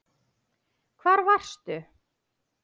Hvar varstu?